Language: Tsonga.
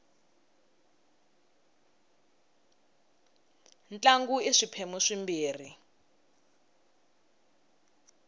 ntlangu i swiphemu swimbirhi